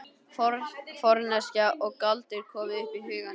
Forneskja og galdur komu upp í hugann.